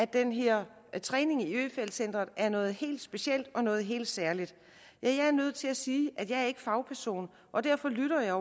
den her træning i øfeldt centret er noget helt specielt og noget helt særligt ja jeg er nødt til at sige at jeg ikke er fagperson og derfor lytter jeg